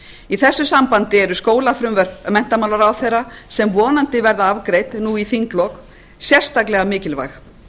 í þessu sambandi eru skólafrumvörp menntamálaráðherra sem vonandi verða afgreidd nú í þinglok sérstaklega mikilvæg